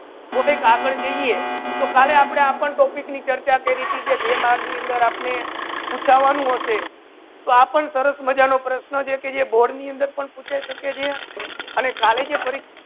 Prosses આગાડ જઇયે તો કાલે આપને આપન topic ની ચર્ચા કરી તિ જે બે mark ની અંદર આપને પુચ્છા વાનુ હસે તો આપને સરસ મજા નો પ્રશ્ન જે કે board ની અંદર પણ પૂછી સકે છે હસે ને collage પરિક્ષા